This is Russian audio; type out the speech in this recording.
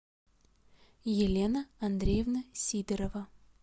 елена андреевна сидорова